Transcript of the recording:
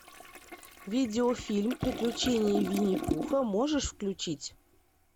видеофильм приключения винни пуха можешь включить